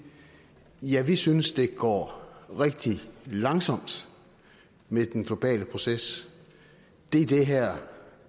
ja vi synes det går rigtig langsomt med den globale proces det er det her